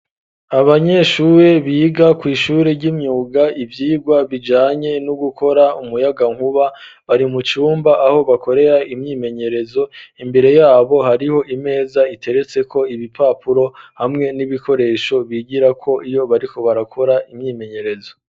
Abanyeshube biga kw'ishuri ry'imyuga ivyirwa bijanye no gukora umuyaga nkuba bari mucumba aho bakorera imyimenyerezo imbere yabo hariho imeza iteretse ko ibipapuro hamwe n'ibikoresho bigira ko iyo bariko barakora imyimenyerezo.